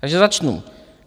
Takže začnu.